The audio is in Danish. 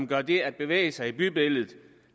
gør det at bevæge sig i bybilledet til